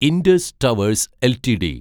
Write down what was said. Indus Towers LTD